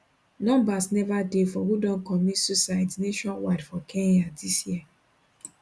numbers neva dey for who don commit suicides nationwide for kenya dis year